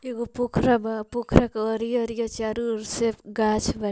एक गो पोखरा बा पोकरा के अरिया-अरिया चारो ओर से गाछ ब --